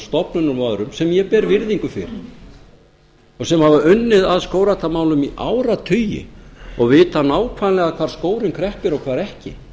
stofnunum og öðrum sem ég ber virðingu fyrir og sem hafa unnið að skógræktarmálum í áratugi og vita nákvæmlega hvar skórinn kreppir og hvar ekki